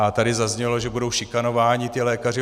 A tady zaznělo, že budou šikanováni ti lékaři.